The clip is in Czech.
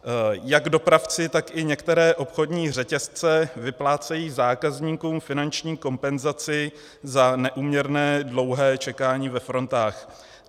Jak dopravci, tak i některé obchodní řetězce vyplácejí zákazníkům finanční kompenzaci za neúměrné dlouhé čekání ve frontách.